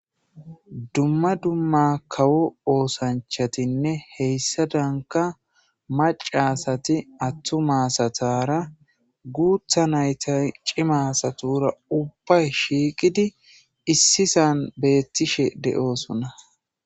dumma dumma kawo oosanchatinne heyssadanka macasati attuma asatara guutha nayta cima asatura ubbay shiiqidi issisan beettishe de'oosona